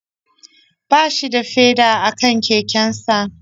Ba shi da feda a kan kekensa